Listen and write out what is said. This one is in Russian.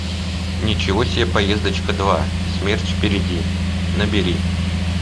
ничего себе поездочка два смерть впереди набери